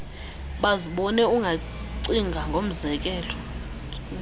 bazibone ungacinga ngomzekelo